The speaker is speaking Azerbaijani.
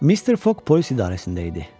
Mister Foq polis idarəsində idi.